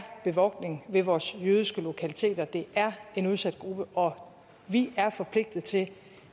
bevogtning ved vores jødiske lokaliteter det er en udsat gruppe og vi er forpligtet til